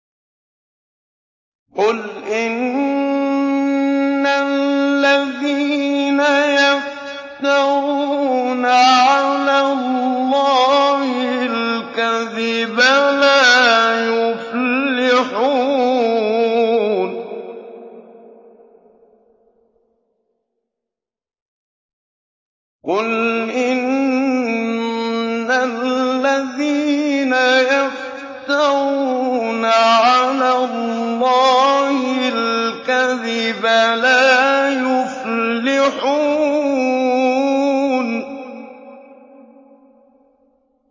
قُلْ إِنَّ الَّذِينَ يَفْتَرُونَ عَلَى اللَّهِ الْكَذِبَ لَا يُفْلِحُونَ